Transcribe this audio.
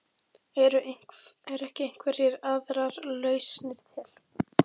Eru ekki einhverjar aðrar lausnir til?